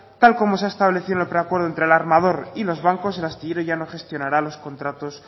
tal como se ha establecido en el preacuerdo entre el armador y los bancos el astillero ya no gestionará los contratos